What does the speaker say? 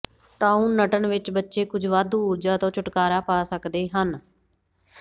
ਟੂਉਨਟਨ ਵਿਚ ਬੱਚੇ ਕੁਝ ਵਾਧੂ ਊਰਜਾ ਤੋਂ ਛੁਟਕਾਰਾ ਪਾ ਸਕਦੇ ਹਨ